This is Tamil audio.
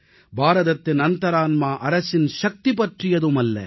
பாரதத்தின் அந்தரான்மா அரசின் சக்தி பற்றியதும் அல்ல